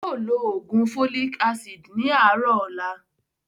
Yii o ló ló oògùn "Folic Acid" ni àárọ̀ ọ̀la